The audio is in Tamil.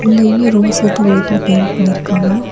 உள்ளயுமே ரோஸ் வித் ஒயிட்ல பெயிண்ட் பண்ணிருக்காங்க.